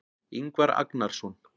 Ingvar Agnarsson.